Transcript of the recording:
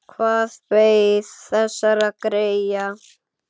Hvað beið þessara greyja?